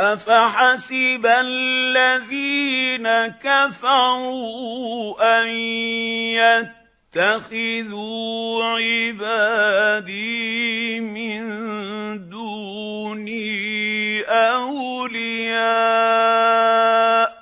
أَفَحَسِبَ الَّذِينَ كَفَرُوا أَن يَتَّخِذُوا عِبَادِي مِن دُونِي أَوْلِيَاءَ ۚ